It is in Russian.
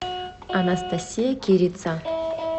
анастасия кирица